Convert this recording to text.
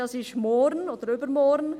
2020, das ist morgen oder übermorgen.